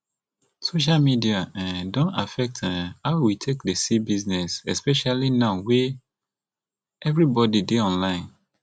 social media um don affect um how we take dey see business especially now wey everybody dey online